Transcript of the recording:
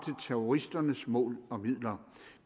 terroristernes mål og midler